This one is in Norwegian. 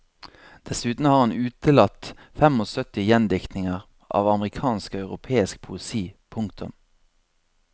Dessuten har han utelatt femogsytti gjendiktninger av amerikansk og europeisk poesi. punktum